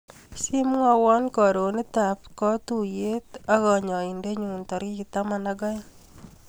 Simwawa karonitap katuiyet ak kanyaindenyu tarik taman ak aeng.